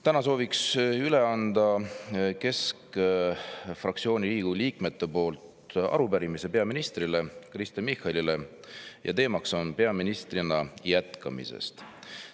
Täna soovin Riigikogu keskfraktsiooni liikmete nimel üle anda arupärimise peaminister Kristen Michalile ja teema on peaministrina jätkamine.